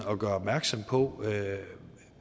og gøre opmærksom på